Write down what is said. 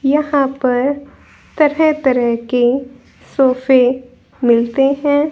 यहां पर तरह तरह के सोफे मिलते हैं।